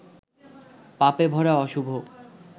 পাপেভরা অশুভ